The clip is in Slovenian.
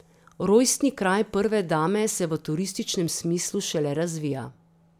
Rojstni kraj prve dame se v turističnem smislu šele razvija.